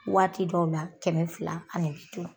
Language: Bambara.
Waati dɔw la kɛmɛ fila ani bi duuru